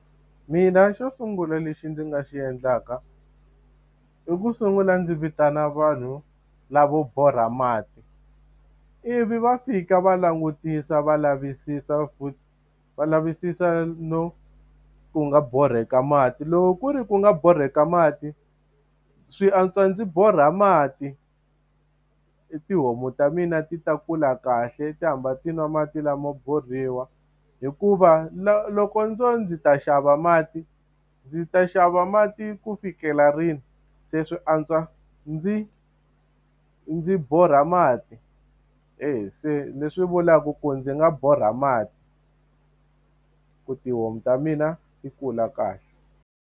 Mina xo sungula lexi ndzi nga xi endlaka, i ku sungula ndzi vitana vanhu lavo borha mati, vi va fika va langutisa va lavisisa futhi va lavisisa no ku nga borheka mati. Loko ku ri ku nga borheka mati, swi antswa ndzi borha mati tihomu ta mina ti ta kula kahle ti hamba ti nwa mati lama mo borhiwa. Hikuva loko ndzo ndzi ta xava mati, ndzi ta xava mati ku fikela rini? Se swi antswa ndzi ndzi borha mati. Eya se leswi vulaka ku ndzi nga borha mati ku tihomu ta mina yi kula kahle.